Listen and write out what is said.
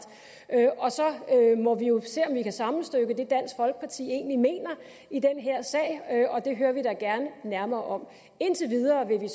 så må vi jo se om vi kan sammenstykke det dansk folkeparti egentlig mener i den her sag og det hører vi da gerne nærmere om indtil videre vil